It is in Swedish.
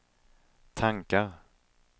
tankar